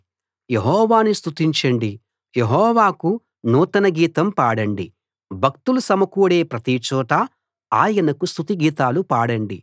యెహోవాను స్తుతించండి యెహోవాకు నూతన గీతం పాడండి భక్తులు సమకూడే ప్రతిచోటా ఆయనకు స్తుతి గీతాలు పాడండి